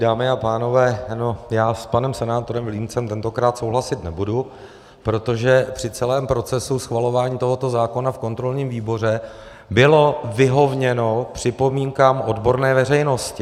Dámy a pánové, já s panem senátorem Vilímcem tentokrát souhlasit nebudu, protože při celém procesu schvalování tohoto zákona v kontrolním výboru bylo vyhověno připomínkám odborné veřejnosti.